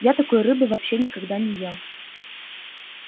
я такой рыбы вообще никогда не ел